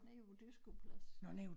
Nede på æ dyreskueplads